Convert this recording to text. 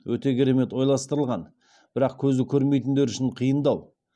өте керемет ойластырылған бірақ көзі көрмейтіндер үшін қиындау